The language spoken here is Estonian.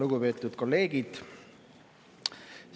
Lugupeetud kolleegid!